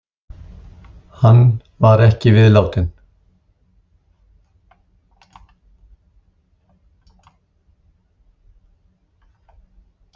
Hann var ekki viðlátinn.